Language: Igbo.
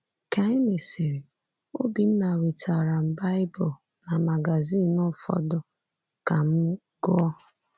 Ka e mesịrị, Obinna wetaara m Baịbụl na magazin ụfọdụ ka m gụọ.